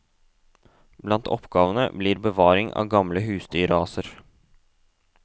Blant oppgavene blir bevaring av gamle husdyrraser.